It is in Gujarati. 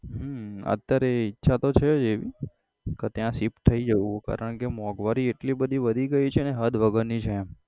હમ અત્યારે ઈચ્છા તો છે જ એવી કે ત્યાં shift થઇ જઉં કારણ કે મોંઘવારી એટલી બધી વધી ગઈ છે ને હદ વગરની છે એમ.